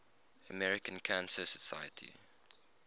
american cancer society